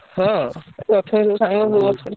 ହଁ ସବୁ ସବୁ ଅଛନ୍ତି।